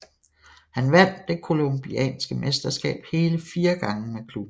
Han vandt det colombianske mesterskab hele fire gange med klubben